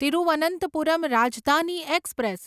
Thiruvananthapuram Rajdhani express